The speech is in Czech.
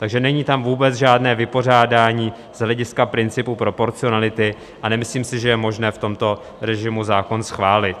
Takže není tam vůbec žádné vypořádání z hlediska principu proporcionality a nemyslím si, že je možné v tomto režimu zákon schválit.